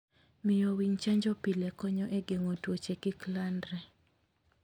Miyo winy chanjo pile konyo e geng'o tuoche kik landre.